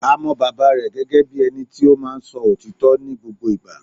A mọ bàbá rẹ̀ gẹ́gẹ́ bíi ẹni tí o máa ń so òtítọ́ ní gbogbo ìgbà